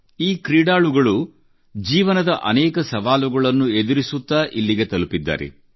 ಈ ಕ್ರೀಡಾಳುಗಳು ಜೀವನದ ಅನೇಕ ಸವಾಲುಗಳನ್ನು ಎದುರಿಸುತ್ತಾ ಇಲ್ಲಿಗೆ ತಲುಪಿದ್ದಾರೆ